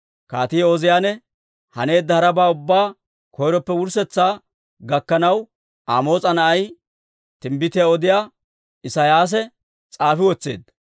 Kaatii Ooziyaane haneedda harabaa ubbaa koyroppe wurssetsaa gakkanaw Amoos'a na'ay, timbbitiyaa odiyaa Isiyaasi s'aafi wotseedda.